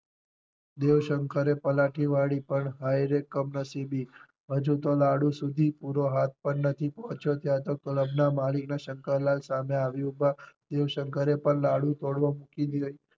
દેવશંકર એ પલાઠી વાળી પણ હાય રે કમનસીબી હજુ તો લાડુ સુધી પૂરો હાથ પણ નથી પહોંચ્યો ત્યાં તો ક્લબ ના માલિક શંકરલાલ સામે આવી ઊભા દેવ શંકરે પણ લાડુ તોડવો મૂકી દીધો